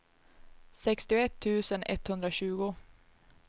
sextioett tusen etthundratjugo